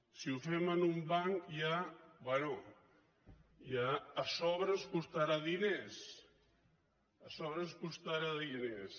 si ho fem amb un banc ja bé a sobre ens costarà diners a sobre ens costarà diners